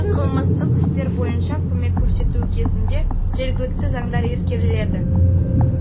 қылмыстық істер бойынша көмек көрсетуі кезінде жергілікті заңдар ескеріледі